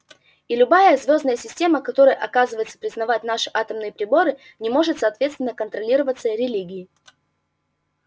и любая звёздная система которая оказывается признавать наши атомные приборы не может соответственно контролироваться религией